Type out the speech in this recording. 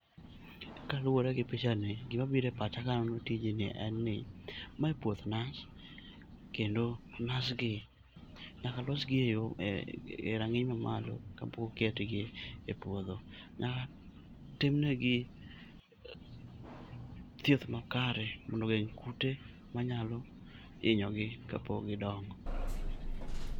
Kaluwore gi pichani, gima bire pacha kaneno tijni en ni mae puoth naz kendo naz gi nyaka losgi e rang'iny mamalo kapok oketgi e puodho. Nyaka timnegi thieth makere mondo geng' kute manyalo inyogi kapok gidongo.